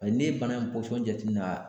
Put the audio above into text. N'i ye bana in jateminɛ